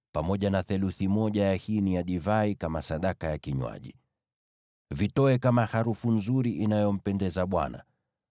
na theluthi moja ya hini ya divai kama sadaka ya kinywaji. Vitoe kama harufu nzuri inayompendeza Bwana .